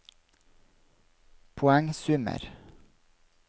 poengsummer